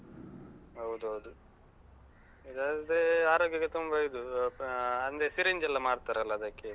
ಹೌದೌದು. ಇದಾದ್ರೆ ಆರೋಗ್ಯಕ್ಕೆ ತುಂಬಾ ಇದು. ಅಹ್ ಅಂದ್ರೆ syringe ಎಲ್ಲ ಮಾಡ್ತಾರಲ್ಲಾ ಅದಕ್ಕೆ.